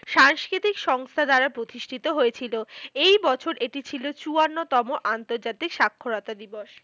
সাংস্কৃতিক সংস্থা দ্বারা প্রতিষ্ঠিত হয়েছিল। এই বছর এটি ছিল চুয়ান্ন তম আন্তর্জাতিক স্বাক্ষরতা দিবস।